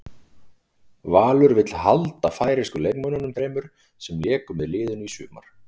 Valur vill halda færeysku leikmönnunum þremur sem léku með liðinu í sumar.